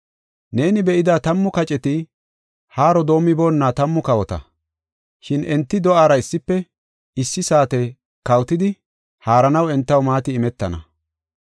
“Neeni be7ida tammu kaceti haaro doomiboonna tammu kawota. Shin enti do7aara issife issi saate kawotidi haaranaw entaw maati imetana.